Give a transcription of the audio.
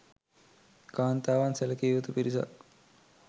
කාන්තාවන් සැලකිය යුතු පිරිසක්